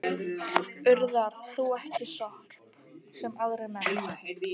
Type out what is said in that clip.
Urðar þú ekki sorp, sem aðrir menn?